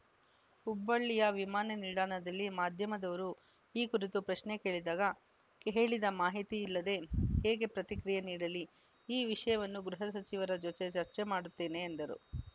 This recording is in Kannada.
ಹುಬ್ಬಳ್ಳಿಯ ವಿಮಾನ ನಿಲ್ದಾಣದಲ್ಲಿ ಮಾಧ್ಯಮದವರು ಈ ಕುರಿತು ಪ್ರಶ್ನೆ ಕೇಳಿದಾಗ ಕೇಳಿದ ಮಾಹಿತಿ ಇಲ್ಲದೆ ಹೇಗೆ ಪ್ರತಿಕ್ರಿಯೆ ನೀಡಲಿ ಈ ವಿಷಯವನ್ನು ಗೃಹ ಸಚಿವರ ಜೊತೆ ಚರ್ಚೆ ಮಾಡುತ್ತೇನೆ ಎಂದರು